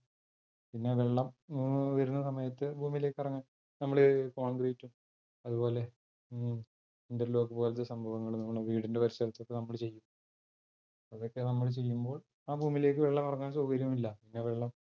പിന്നെ വെള്ളം മ് വരുന്ന സമയത്ത് ഭൂമിയിലേക്ക് ഇറങ് നമ്മള് concrete ഉം അത്പോലെ മ് interlock പോലത്തെ സംഭവങ്ങളും നമ്മളെ വീടിന്റെ പരിസരത്തൊക്കെ നമ്മൾ ചെയ്യും. അതൊക്കെ നമ്മൾ ചെയ്യുമ്പോൾ ആ ഭൂമിയിലേയ്ക്ക് വെള്ളമിറങ്ങാൻ സൗകര്യമില്ല ആ വെള്ളം